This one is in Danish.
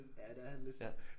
Ja det er han lidt